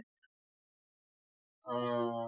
অহ